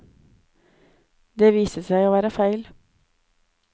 Det viste seg å være feil.